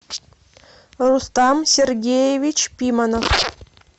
рустам сергеевич пиманов